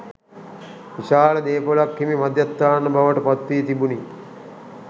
විශාල දේපොලක් හිමි මධ්‍යස්ථාන බවට පත් වී තිබුණි.